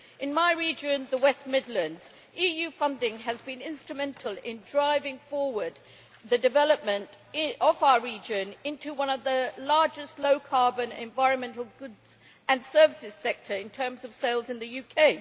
In my region, the West Midlands, EU funding has been instrumental in driving forward the development of our region into one of the largest low carbon environmental goods and services sectors, in terms of sales, in the UK.